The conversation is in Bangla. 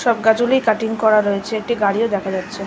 সব গাছ গুলিই কাটটিং করা রয়েছে। একটি গাড়িওদেখা যাচ্ছে--